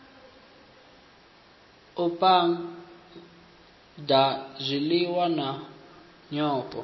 u phaga zwiliwa na nyofho